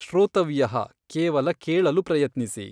ಶ್ರೋತವ್ಯಃ ಕೇವಲ ಕೇಳಲು ಪ್ರಯತ್ನಿಸಿ.